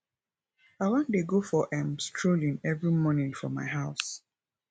i wan dey go for um strolling every morning for my house